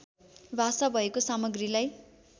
भाषा भएको सामग्रीलाई